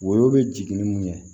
Woyo bɛ jigin ni mun ye